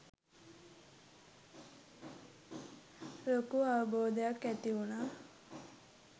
ලොකු අවබෝධයක් ඇතිවුනා.